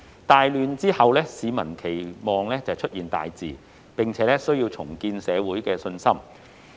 大亂之後，市民期待出現大治，並且需要重建社會信心。